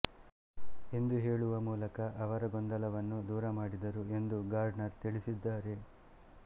ಎಂದು ಹೇಳುವ ಮೂಲಕ ಅವರ ಗೊಂದಲವನ್ನು ದೂರಮಾಡಿದರು ಎಂದು ಗಾರ್ಡ್ನರ್ ತಿಳಿಸಿದ್ದಾರೆ